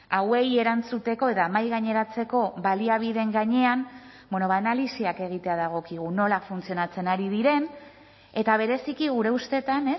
hauei erantzuteko eta mahaigaineratzeko baliabideen gainean analisiak egitea dagokigu nola funtzionatzen ari diren eta bereziki gure ustetan